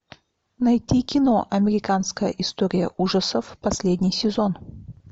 найти кино американская история ужасов последний сезон